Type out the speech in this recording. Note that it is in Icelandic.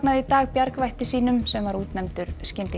í dag bjargvætti sínum sem var útnefndur